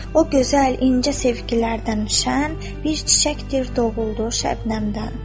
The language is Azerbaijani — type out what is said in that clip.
O gözəl, incə sevgilərdən şən, bir çiçəkdir doğuldu şebnəmdən.